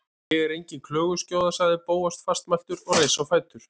Ég er engin klöguskjóða- sagði Bóas fastmæltur og reis á fætur.